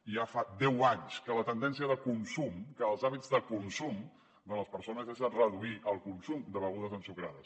i ja fa deu anys que la tendència de consum que els hàbits de consum de les persones són reduir el consum de begudes ensucrades